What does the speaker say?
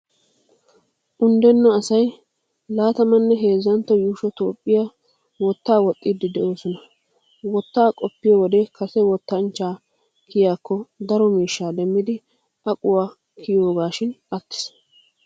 Unddenna asay Laatamanne heezzantto yuushsho Toophphiyaa wottaa woxxiiddi de'oosona. Wottaa qoppiyo wode kase wottanchcha kiyiyaakko, daro miishshaa demmidi aquwaawa kiyiyoogaashin attiis.